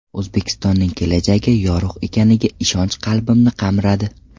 O‘zbekistonning kelajagi yorug‘ ekaniga ishonch qalbimni qamradi”.